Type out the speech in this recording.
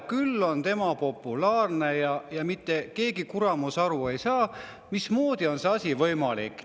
Küll on tema populaarne ja mitte keegi kuramus aru ei saa, mismoodi on see asi võimalik.